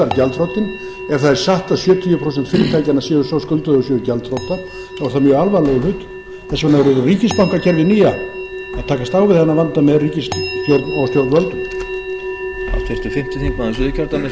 það er satt að sjötíu prósent fyrirtækjanna séu svo skuldug að þau séu gjaldþrota er það mjög alvarlegur hlutur þess vegna verður ríkisbankakerfið nýja að takast á við þennan vanda með ríkisstjórn og stjórnvöldum